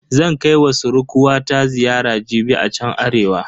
Zan kai wa surkuwata ziyara jibi a chan Arewa.